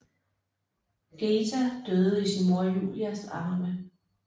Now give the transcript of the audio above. Geta døde i sin mor Julias arme